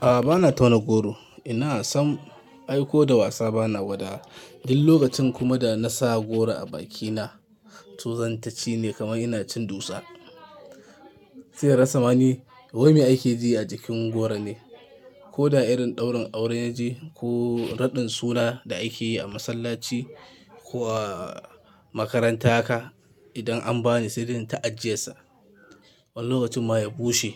A'a bana tauna goro. Ina sam aiko da wasa bana gwada. Din lokacin kuma da na sa goro a bakina, tsuzantace ne kamar ina cin dutsa. Sai in rasa mani, waimi ake ji a jikin goro ne. Ko da irin ɗaurin aure na je ko raɗin suna da ake yi a masallaci ko a makarantarka. Idan an bani saidai ta ajiyesa, wani lokacin ma ya bushe,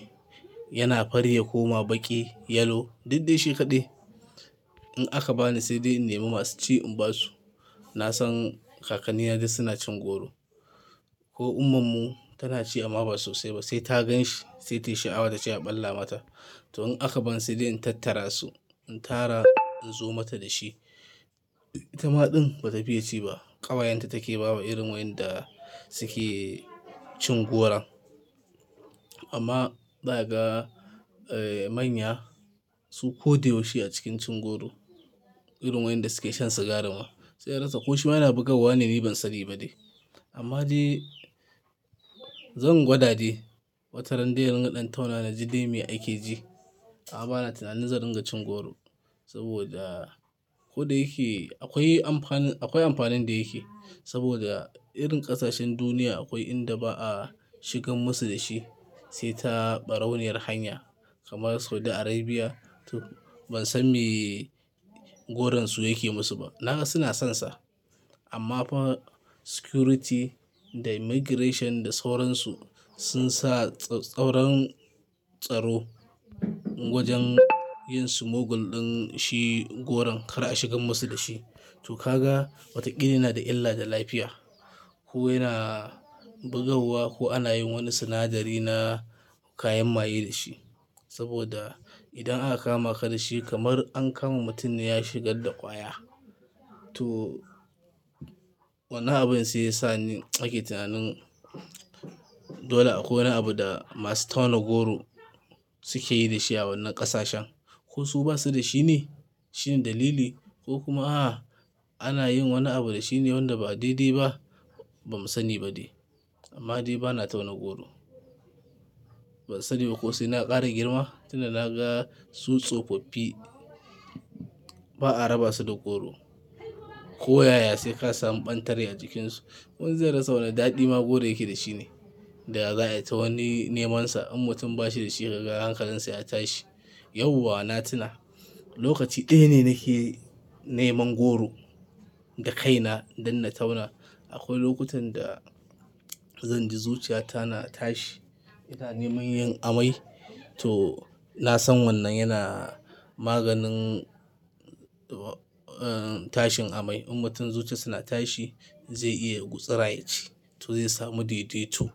yana fari ya koma baƙi, yellow duk dai shi kaɗai. In aka bani saidai in nema masu ci in ba su, na san kakann na dai suna cin goro. Ko ummarmu tana ci amma ba sosai ba. Sai ta gan shi sai tayi sha'awa tace a ɓalla mata. To in aka bani saidai in tattara su, in tara in zo mata da shi. Ita ma ɗin bata fiye ci ba. Ƙawayenta take bawa irin wayanda suke cin goron. Amma zaka ga, eh, manya su ko da yaushe a cikin cin goro. Irin wayanda suke shan sigarin ma. Sai inrasa ko shi ma yana bugarwa ne ni ban sani ba dai. Amma dai zan gwada de Wata rande in riga ɗan tauna na ji dai me ake ji. A'a bana tunanin zan ringa cin goro. Saboda ko da yake akwai amfanin, akwai amfanin da yake. Saboda irin ƙasashen duniya akwai inda ba a shigar musu da shi sai ta ɓarauniyar hanya kamar Saudi Arabia. To ban san me goronsu yake musu ba. Na ga suna sonsa. Amma fa security da immigration da sauransu sun sa tsautsauran tsaro wajen yin smuggle din shi goron kar a shigar musu da shi. To ka ga wataƙila yana da illa da lafiya ko yana bugawa ko ana yin wani sinadari na kayan maye da shi. Saboda idan aka kama ka da shi kamar an kama mutum ya shigar da ƙwaya. To wane abin si ya sa ni nake tunanin dole akwai wani abu da masu tauna goro suke yi da shi a wannan ƙasashen. Ko su basu da shi ne? Shi ne dalili ko kuma a'a ana yin wani abu da shi ne wanda ba dai dai ba ba mu sani ba dai. Amma dai bana tauna goro. Ban sani ba ko sai na ƙara girma tunda na ga su tsofaffi ba a raba su da goro. Ko yaya sai ka samu ɓantare a cikinsu. Wani zai rasa wani daɗi ma goro yake da shi ne. Da za a yi ta wani neman sa. In mutum ba shi da shi ka ga hankalinsa ya tashi. Yauwa na tuna lokaci ɗaya ne nake neman goro da kaina dan na tauna. Akwai lokutan da zan ji zuciyata na tashi ina neman yin amai. To na san wannan yana maganin, eh, tashin amai. In mutum zuciya suna tashi zai iya gutsuraye ce. To zai samu ɗeɗe tu.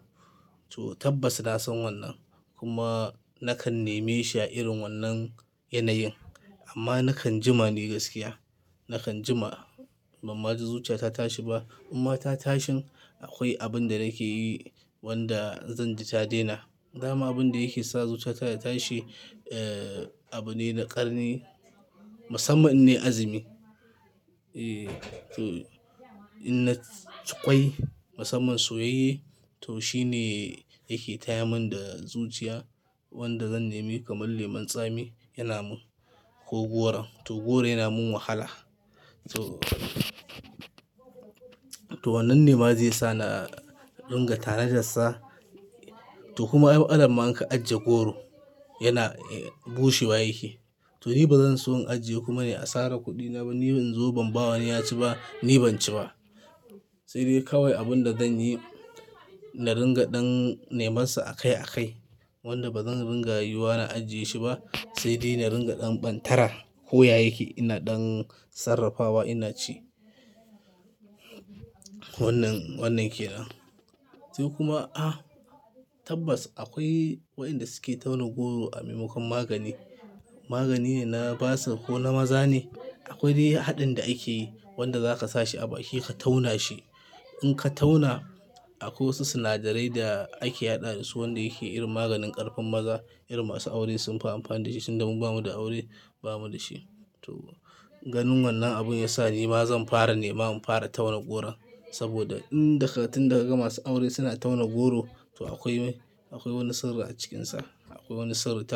To tabbas na san wannan kuma nakan neme shi a irin wannan yanayin. Amma nakan jima ni gaskiya, nakan jima bamma ji zuciyata tashi ba. Amma ta tashin akwai abin da nake yi wanda zan ji ta daina. Dama abin da yake sa zuciyata ta tashi, eh, abu ne na ƙarni, musamman inne azumi. E, to in na ci ƙwai musamman soyayye to shi ne yake taya min da zuciya wanda zan nemi kamar lemun tsami yana mun ko goron. To goro yana mun wahala. To to wannan nema zai sa na dinga tanajassa. To kuma ay matsalanma in ka ajiye goro yana bushewa yake. To ni bazan so in ajiye kuma ne a sarar kuɗina ba. Ni ban zo ban ba wani ya ci ba, ni ban ci ba. Sai dai kawai abun da zan yi, na dinga ɗan neman sa a kai a kai wanda bazan dinga yiwuwa na ajiye shi ba sai dai na dinga ɗan ɓantara ko yayi yake ina ɗan sarrafawa ina ci. Wannan, wannan ke nan. To kuma a'a tabbas akwai waƴanda suke tauna goro a maimakon magani. Magani ne na basar ko na maza ne. Akwai dai haɗin da ake yi wanda zaka sa shi a baki ka tauna shi. In ka tauna akwai wasu sinadarai da ake haɗa da su wanda yake irin maganin ƙarfin maza. Irin masu aure sunfi amfani da shi sanda mu ba mu da aure ba mu da shi. To ganin wannan abun ya sa ni ma zan fara nema mu fara tauna goro. Saboda inda ka tunda kaga ga masu aure suna tauna goro to akwai, akwai wani sirri a cikinsa. Akwai wani sirri tabbas.